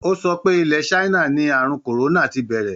Ó sọ pé ilẹ̀ China ní àrùn kòrónà ti bẹ̀rẹ̀.